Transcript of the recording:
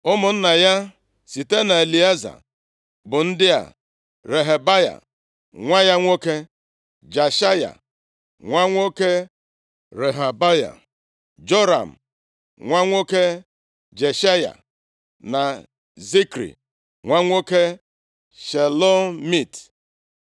Ụmụnna ya site na Elieza bụ ndị a, Rehabaya nwa ya nwoke, Jeshaya nwa nwoke Rehabaya, Joram nwa nwoke Jeshaya na Zikri nwa nwoke Shelomit.